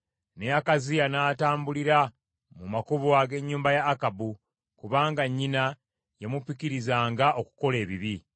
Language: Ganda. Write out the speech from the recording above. Ne Akaziya n’atambulira mu makubo ag’ennyumba ya Akabu, kubanga nnyina yamupikirizanga okukola ebibi.